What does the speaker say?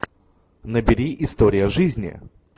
набери история жизни